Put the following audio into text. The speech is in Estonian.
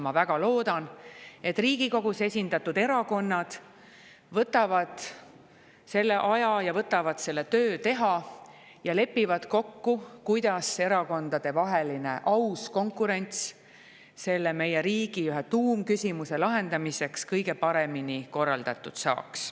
Ma väga loodan, et Riigikogus esindatud erakonnad võtavad selle aja ja võtavad teha selle töö ja lepivad kokku, kuidas erakondadevaheline aus konkurents meie riigi ühe tuumküsimuse lahendamiseks kõige paremini korraldatud saaks.